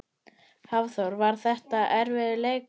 Hafþór: Var þetta erfiður leikur?